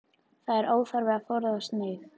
Það er óþarfi að forðast mig.